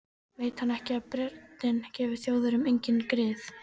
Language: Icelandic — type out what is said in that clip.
Veit hann ekki að Bretinn gefur Þjóðverjum engin grið?